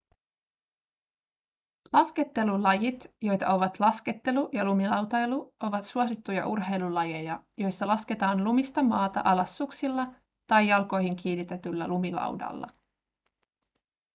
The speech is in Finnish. laskettelulajit joita ovat laskettelu ja lumilautailu ovat suosittuja urheilulajeja joissa lasketaan lumista maata alas suksilla tai jalkoihin kiinnitetyllä lumilaudalla